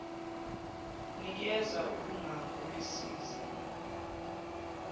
nikeza ubungako besiza